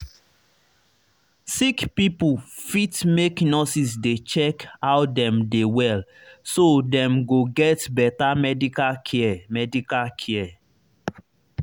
sick pipo fit make nurses dey check how dem dey well so dem go get better medical care medical care